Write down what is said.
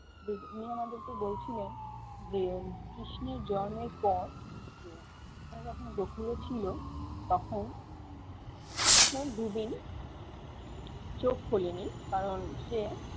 আমাদেরকে বলছিলেন যে কৃষ্ণের জন্মের পর যখন গকুল এ ছিলো তখন কৃষ্ণ দু দিন চোখ খোলে নি কারণ সে